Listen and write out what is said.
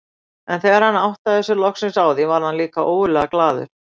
En þegar hann áttaði sig loksins á því varð hann líka ógurlega glaður.